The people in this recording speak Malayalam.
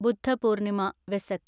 ബുദ്ധ പൂർണിമ/വെസക്